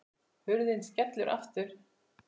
Hurðin skellur aftur.